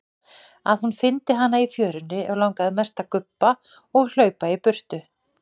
Að hún fyndi hana í fjörunni og langaði mest að gubba og hlaupa í burtu.